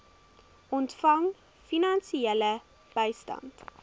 ontvang finansiële bystand